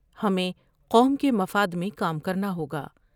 ہمیں قوم کے مفاد میں کام کرنا ہوگا ۔